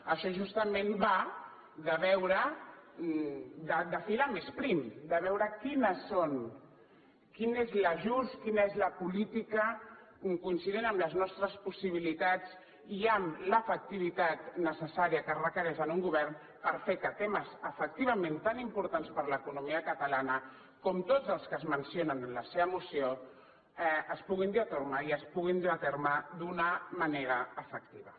això justament va de filar més prim de veure quin és l’ajust quina és la política coincident amb les nostres possibilitats i amb l’efectivitat necessària que requereix en un govern per fer que temes efectivament tant importants per a l’economia catalana com tots els que es mencionen en la seva moció es puguin dur a terme i es puguin dur a terme d’una manera efectiva